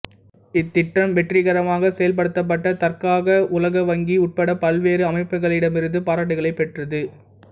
இத்திட்டம் வெற்றிகரமாக செயல்படுத்தப்பட்டதற்காக உலக வங்கி உட்பட பல்வேறு அமைப்புகளிடமிருந்து பாராட்டுக்களைப் பெற்றது